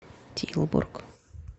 тилбург